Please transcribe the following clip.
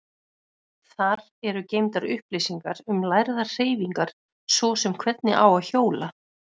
Þar eru geymdar upplýsingar um lærðar hreyfingar, svo sem hvernig á að hjóla.